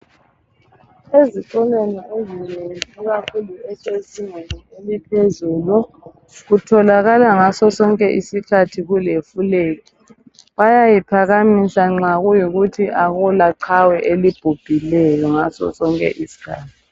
Ezikolweni ezinengi ikakhulu ezezingeni eliphezulu, kutholakala ngasosonke isikhathi kule flegi. Bayayiphakamisa nxa kuyikuthi akulaqhawe elibhubhileyo ngasosonke isikhathi.